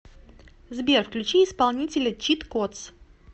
сбер включи исполнителя чит кодс